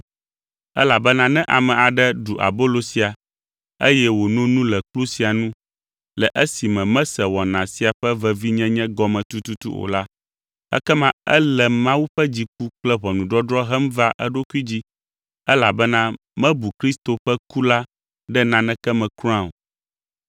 Elabena ne ame aɖe ɖu abolo sia, eye wòno nu le kplu sia nu, le esime mese wɔna sia ƒe vevinyenye gɔme tututu o la, ekema ele Mawu ƒe dziku kple ʋɔnudɔdrɔ̃ hem va eɖokui dzi, elabena mebu Kristo ƒe ku la ɖe naneke me kura o.